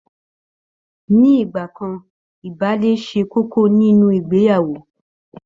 Ní ìgbà kan ìbálé ṣe kókó nínú ìgbeyàwó